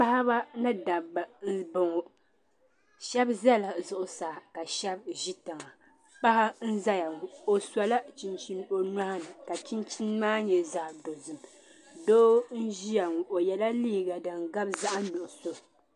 Paɣba ni dabba nbɔŋɔ shɛb zala zuɣu saa ka shɛb zɛ tiŋa paɣa nzɛya ŋɔ o sola chinchini o nyɔɣini ka chinchini maa nyɛ zaɣi dozim doo nzɛya o yɛla liiga din gabi zaɣi nuɣiso.